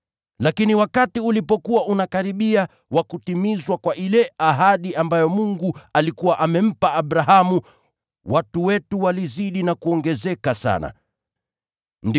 “Lakini wakati ulipokuwa unakaribia wa kutimizwa kwa ile ahadi ambayo Mungu alikuwa amempa Abrahamu, watu wetu walizidi kuongezeka sana huko Misri.